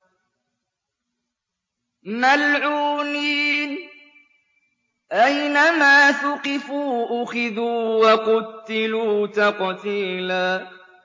مَّلْعُونِينَ ۖ أَيْنَمَا ثُقِفُوا أُخِذُوا وَقُتِّلُوا تَقْتِيلًا